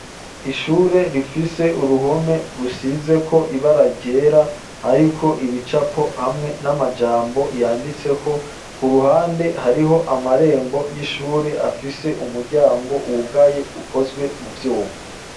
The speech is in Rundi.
ishure rifise uruhome rusizeko ibara ryera hariko ibicapo hamwe n'amajambo yanditseko ku ruhande hariho amarembo y'ishure afise umuryango wugaye ukozwe mu vyuma